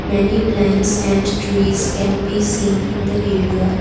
many plants and trees can be seen in the area.